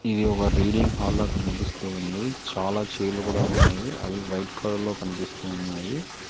ఇది ఒక రీడింగ్ హాల్లో కనిపిస్తూ ఉంది చాలా చైర్లు కూడా ఉన్నాయి అవి వైట్ కలర్ లో కనిపిస్తూ ఉన్నాయి.